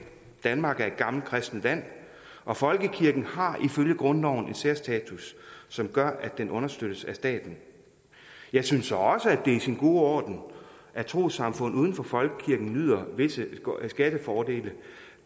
danmark er et gammelt kristent land og folkekirken har ifølge grundloven en særstatus som gør at den understøttes af staten jeg synes også det er i sin orden at trossamfund uden for folkekirken nyder visse skattefordele